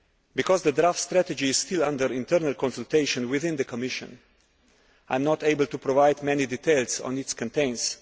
Because the draft strategy is still under internal consultation within the Commission, I am not able to provide many details on its contents.